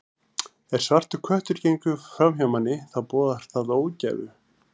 Ef svartur köttur gengur fram hjá manni, þá boðar það ógæfu.